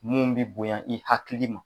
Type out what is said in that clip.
Mun bɛ bonya i hakili ma